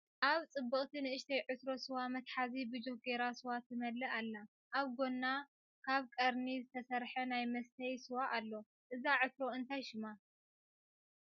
ኣብ ፅብቅቲ ንእሽተይ ዕትሮ ስዋ መትሓዚ ብጆክ ጌራ ስዋ ትመልእ ኣላ ኣብ ጎና ካብ ቀርኒ ዝተሰርሐ ናይ መስተይ ስዋ ኣሎ ።እዛ ዕትሮ እንታይ ሽማ ?